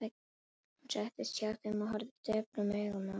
Hún settist hjá þeim og horfði döprum augum á þá.